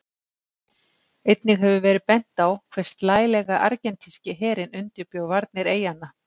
Einnig hefur verið bent á hve slælega Argentínski herinn undirbjó varnir eyjanna.